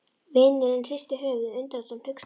Vinurinn hristir höfuðið, undrandi og hneykslaður.